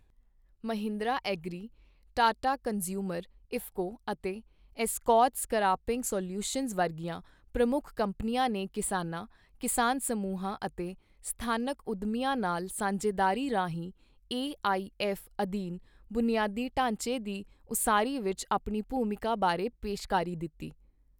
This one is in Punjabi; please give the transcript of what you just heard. ਮਹਿੰਦਰਾ ਐਗਰੀ, ਟਾਟਾ ਕੰਜ਼ਿਊਮਰ, ਇਫਕੋ ਅਤੇ ਐਸਕੋਰਟਸ ਕਰਾਪਿੰਗ ਸਲਿਊਸ਼ਨਜ ਵਰਗੀਆਂ ਪ੍ਰਮੁੱਖ ਕੰਪਨੀਆਂ ਨੇ ਕਿਸਾਨਾਂ, ਕਿਸਾਨ ਸਮੂਹਾਂ ਅਤੇ ਸਥਾਨਕ ਉੱਦਮੀਆਂ ਨਾਲ ਸਾਂਝੇਦਾਰੀ ਰਾਹੀਂ ਏਆਈਐਫ ਅਧੀਨ ਬੁਨਿਆਦੀ ਢਾਂਚੇ ਦੀ ਉਸਾਰੀ ਵਿਚ ਆਪਣੀ ਭੂਮਿਕਾ ਬਾਰੇ ਪੇਸ਼ਕਾਰੀ ਦਿੱਤੀ।